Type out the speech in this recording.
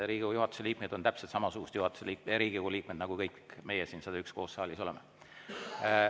Riigikogu juhatuse liikmed on täpselt samasugused Riigikogu liikmed, nagu kõik me 101 siin saalis koos oleme.